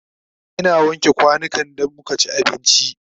Ina wanke kwanukan da muka ci abinci